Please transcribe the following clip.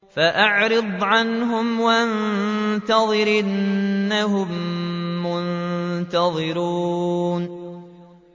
فَأَعْرِضْ عَنْهُمْ وَانتَظِرْ إِنَّهُم مُّنتَظِرُونَ